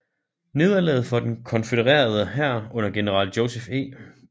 Nederlaget for den konfødererede hær under general Joseph E